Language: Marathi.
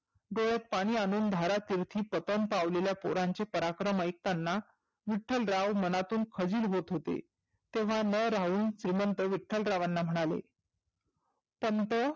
डोळ्यात पाणी आणून धारातीर्थी पतन पावलेल्या पोरांचे पराक्रम ऐकतांना विठ्ठलराव मनातून खजील होत होते. तेव्हा न राहून श्रिमंत विठ्ठलरावांना म्हणाले. पंत